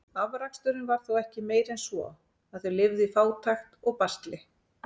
Afraksturinn var þó ekki meiri en svo, að þau lifðu í fátækt og basli.